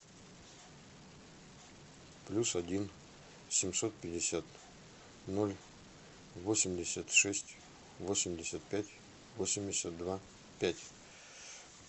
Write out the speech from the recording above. плюс один семьсот пятьдесят ноль восемьдесят шесть восемьдесят пять восемьдесят два пять